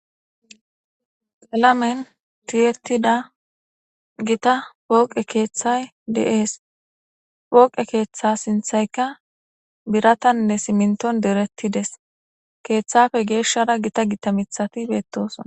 Qaalamen tiyettida gita pooqe keeththay de'es pooqe keththa sinththaykka biiratanne simintton dorettides keththappe geeshshara gita gita miiththatti bettossonna